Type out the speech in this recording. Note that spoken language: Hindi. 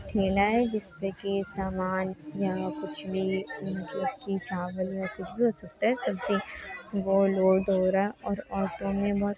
मिल रहा है जिससे कि सब समान या कुछ भी मतलब की चावल या कुछ भी हो सकता है सब्जी गोल गोल वगेरह और ऑटो में बस--